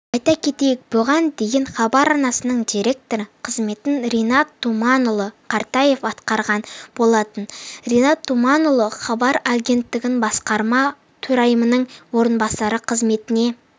айта кетейік бұған дейін хабар арнасының директоры қызметін ринат думанұлы кертаев атқарған болатын ринат думанұлы хабар агенттігі басқарма төрайымының орынбасары қызметіне